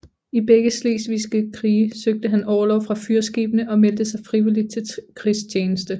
I begge Slesvigske krige søgte han orlov fra fyrskibene og meldte sig frivilligt til krigstjeneste